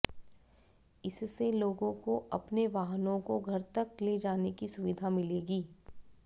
इससे लोगों को अपने वाहनों को घर तक ले जाने की सुविधा मिलेगी